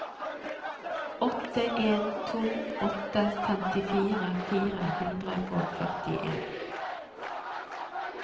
åtte en to åtte femtifire fire hundre og førtien